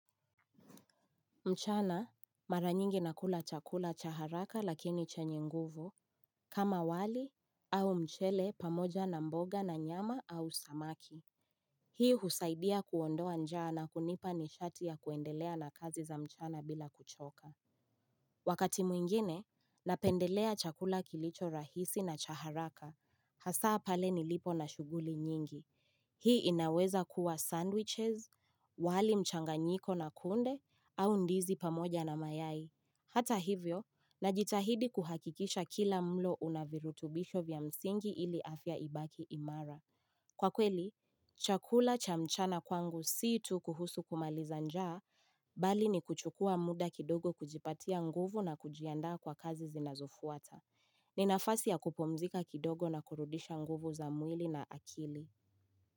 Mchana mara nyingi nakula chakula cha haraka lakini chenye nguvu kama wali au mchele pamoja na mboga na nyama au samaki. Hii husaidia kuondoa njaa na kunipa nishati ya kuendelea na kazi za mchana bila kuchoka. Wakati mwingine, napendelea chakula kilicho rahisi na cha haraka, hasa pale nilipo na shughuli nyingi. Hii inaweza kuwa sandwiches, wali mchanganyiko na kunde, au ndizi pamoja na mayai. Hata hivyo, najitahidi kuhakikisha kila mlo una virutubisho vya msingi ili afya ibaki imara. Kwa kweli, chakula cha mchana kwangu si tu kuhusu kumaliza njaa, bali ni kuchukua muda kidogo kujipatia nguvu na kujiandaa kwa kazi zinazofuata. Ni nafasi ya kupumzika kidogo na kurudisha nguvu za mwili na akili.